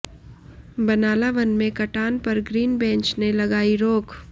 बनाला वन में कटान पर ग्रीन बेंच ने लगायी रोक